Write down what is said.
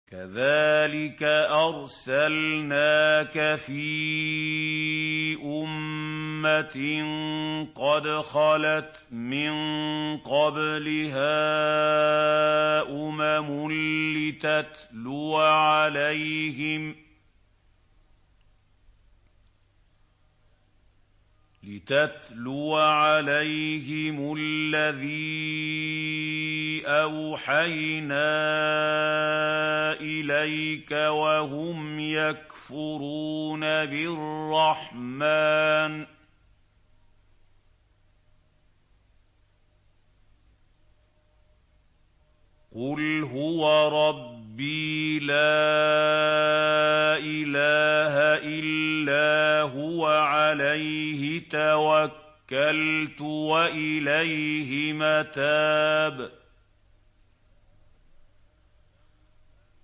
كَذَٰلِكَ أَرْسَلْنَاكَ فِي أُمَّةٍ قَدْ خَلَتْ مِن قَبْلِهَا أُمَمٌ لِّتَتْلُوَ عَلَيْهِمُ الَّذِي أَوْحَيْنَا إِلَيْكَ وَهُمْ يَكْفُرُونَ بِالرَّحْمَٰنِ ۚ قُلْ هُوَ رَبِّي لَا إِلَٰهَ إِلَّا هُوَ عَلَيْهِ تَوَكَّلْتُ وَإِلَيْهِ مَتَابِ